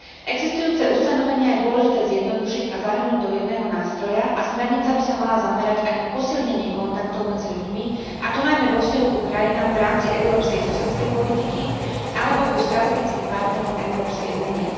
Existujúce ustanovenia je dôležité zjednodušiť a zahrnúť do jedného nástroja a smernica by sa mala zamerať aj na posilnenie kontaktov medzi ľuďmi, a to najmä vo vzťahu ku krajinám v rámci európskej susedskej politiky alebo ku strategickým partnerom Európskej únie.